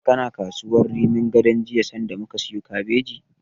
Kana kasuwar Rimin Gadon jiya sanda muka siyo kabeji?